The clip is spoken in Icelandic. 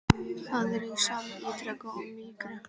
Það er í senn ýktara og mýkra.